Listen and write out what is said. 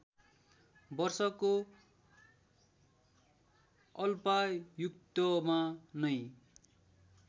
वर्षको अल्पायुत्वमा नै